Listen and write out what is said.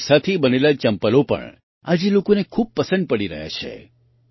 આવા રેસાથી બનેલાં ચપ્પલો પણ આજે લોકોને ખૂબ પસંદ પડી રહ્યાં છે